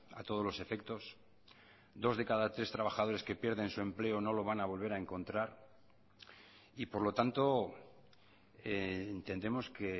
a todos los efectos dos de cada tres trabajadores que pierden su empleo no lo van a volver a encontrar y por lo tanto entendemos que